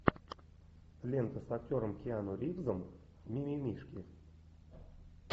лента с актером киану ривзом мимимишки